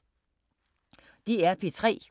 DR P3